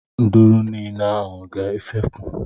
Nduru niile ahụ ga efepụ.